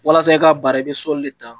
Walasa i k'a baara i bɛ sɔli de ta